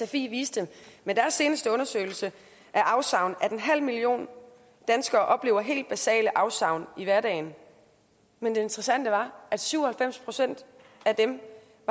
sfi viste med deres seneste undersøgelse af afsavn at en halv million danskere oplever helt basale afsavn i hverdagen men det interessante var at syv og halvfems procent af dem